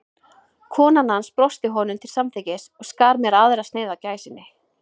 Kona hans brosti honum til samþykkis og skar mér aðra sneið af gæsinni.